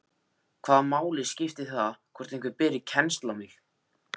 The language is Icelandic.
Hvaða máli skiptir það hvort einhver beri kennsl á mig?